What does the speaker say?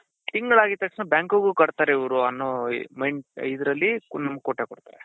ತಿಂಗಳಾಗಿದ್ ತಕ್ಷಣ bankಗು ಕಟ್ತಾರೆ ಇವ್ರು ಅನ್ನೋ ಇದ್ರಲ್ಲಿ full ಕೊಟ್ಟೆ ಕೊಡ್ತಾರೆ.